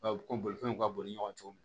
ko bolifɛnw ka boli ɲɔgɔn cogo